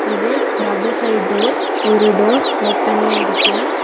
இது double side door ஒரு door ஓப்பன்ல இருக்கு.